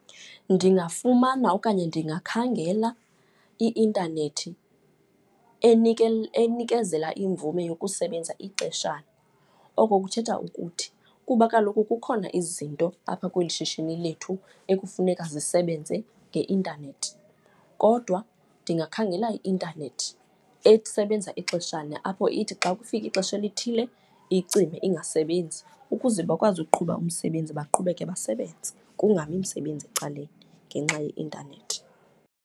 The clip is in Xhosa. Ndingafumana okanye ndingakhangela i-intanethi enikezela imvume yokusebenza ixeshana. Oko kuthetha ukuthi kuba kaloku kukhona izinto apha kweli shishini lethu ekufuneka zisebenze nge-intanethi kodwa ndingakhangela i-intanethi esebenza ixeshana, apho ithi xa kufika ixesha elithile icime ingasebenzi. Ukuze bakwazi ukuqhuba umsebenzi, baqhubeke basebenze kungami umsebenzi ecaleni ngenxa ye-intanethi.